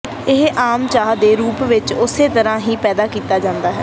ਇਹ ਆਮ ਚਾਹ ਦੇ ਰੂਪ ਵਿੱਚ ਉਸੇ ਤਰ੍ਹਾਂ ਹੀ ਪੈਦਾ ਕੀਤਾ ਜਾਂਦਾ ਹੈ